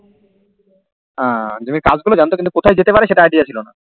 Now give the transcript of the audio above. আঃ মানে কাজ গুলো জানতো কিন্তু কথাই যেতে পারে সেটার Idea ছিলোনা